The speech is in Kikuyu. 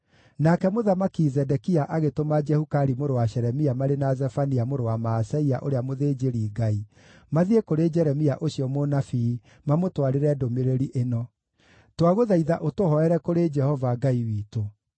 Nake Mũthamaki Zedekia agĩtũma Jehukali mũrũ wa Shelemia marĩ na Zefania mũrũ wa Maaseia ũrĩa mũthĩnjĩri-Ngai mathiĩ kũrĩ Jeremia ũcio mũnabii, mamũtwarĩre ndũmĩrĩri ĩno: “Twagũthaitha ũtũhooere kũrĩ Jehova, Ngai witũ.”